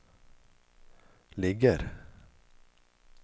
ligger